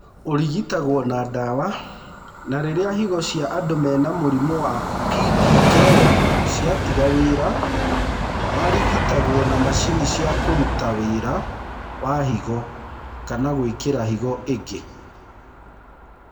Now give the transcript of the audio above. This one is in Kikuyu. Ũrigitagwo na ndawa na rĩrĩa higo cia andũ mena mũrimũ wa PKD ciatiga wĩra marigitagwo na macini cia kũruta wira wa higo kana gwĩkĩro higo ĩngĩ.